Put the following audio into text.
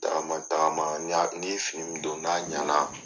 Taama taama ni y'a n'i ye fini min don n'a ɲana